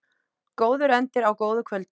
Góður endir á góðu kvöldi.